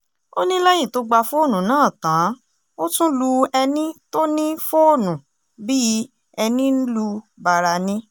ó ní lẹ́yìn tó gba fóònù náà tán ó tún lu ẹni tó ní fóònù bíi ẹni lu bàrà ni